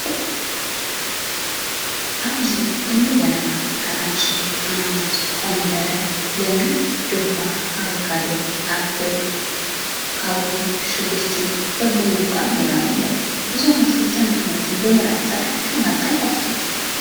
ኣብዚ እኒ በነና፣ ኣራንሺ፣ ኣናናስ፣ ኮሚደረ፣ ለሚን፣ ድባ፣ ኣቮካዶ፣ ኣፕል፣ ካብሎ፣ ሽጉርቲ በብመክዖም ይርአዩ ኣለዉ፡፡ እዞም ኣትክልትን ፍረምረን ብምርኣይ ጥራይ ሽውሃትካ ይኸፍቱ፡፡